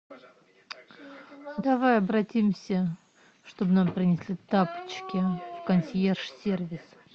давай обратимся чтоб нам принесли тапочки в консьерж сервис